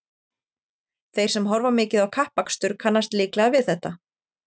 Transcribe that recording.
þeir sem horfa mikið á kappakstur kannast líklega við þetta